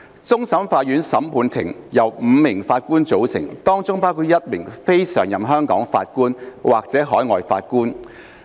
終審法院審判庭由5名法官組成，當中包括一名非常任香港法官或海外法官。